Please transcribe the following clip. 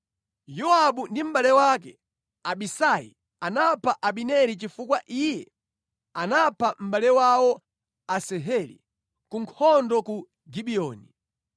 (Yowabu ndi mʼbale wake Abisai anapha Abineri chifukwa iye anapha mʼbale wawo Asaheli ku nkhondo ku Gibiyoni).